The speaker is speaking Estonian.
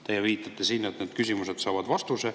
Te viitate siin, et need küsimused saavad vastuse.